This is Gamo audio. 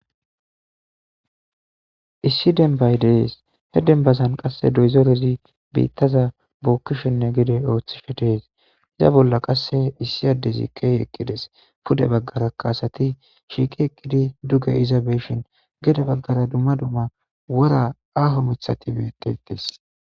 isssi denbay des hen dendazan qase dozorezi bitaza bokishenne gede othishe des iza bolla qase issi adezi ke'i eqides pude bagara asati shiiqi eqidi duge iza beyishen gede bagara dumma dumma wora aho mithati betetes